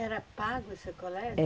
Era pago esse colégio?